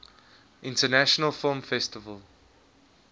international film festival